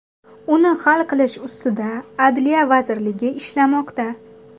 Uni hal qilish ustida Adliya vazirligi ishlamoqda.